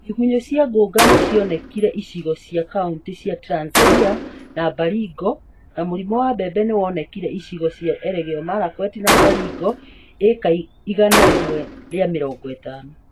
Igunyũ cia ngũnga nĩcionekire icigo cia kauntĩ cia Trans Nzoia na Baringo; na mũrimu wa mbembe nĩwonekire icigo cia Elgeyo Marakwet na Baringo (ĩĩka igana rimwe rĩa mĩrongo ĩtano)